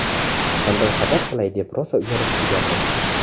"Qanday xabar qilay deb rosa uyalib turgandim".